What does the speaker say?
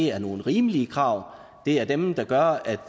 er nogle rimelige krav det er dem der gør at